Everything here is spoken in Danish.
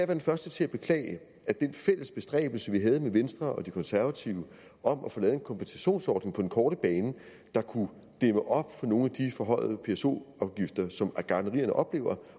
den første til at beklage at den fælles bestræbelse vi havde med venstre og de konservative om at få lavet en kompensationsordning på den korte bane der kunne dæmme op for nogle af de forhøjede pso afgifter som gartnerierne oplever